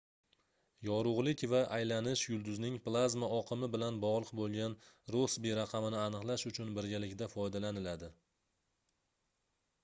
yorugʻlik va aylanish yulduzning plazma oqimi bilan bogʻliq boʻlgan rossbi raqamini aniqlash uchun birgalikda foydalaniladi